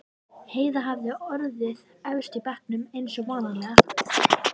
Heiða hafði orðið efst í bekknum eins og vanalega.